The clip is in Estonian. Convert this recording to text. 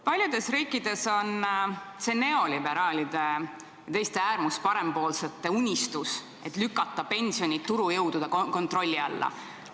Paljudes riikides on see neoliberaalide ja teiste äärmusparempoolsete unistus, et saaks pensioni lükata turujõudude kontrolli alla.